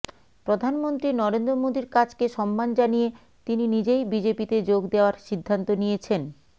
প্রধানমন্ত্রী নরেন্দ্র মোদীর কাজকে সম্মান জানিয়ে তিনি নিজেই বিজেপিতে যোগ দেওয়ার সিদ্ধান্ত নিয়েছেন